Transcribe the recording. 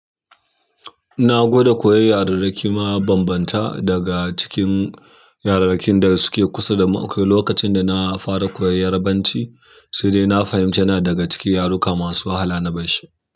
Na gwada koyi yarurruki ma bambanta daga cikin yararrakin da suke kusa da mu. Akwai lokacin da na fara koyon yarabanci sai dai na fahimci yana daga cikin yaruka masu wahala na barshi.